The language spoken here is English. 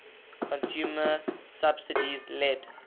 consumer subsidies led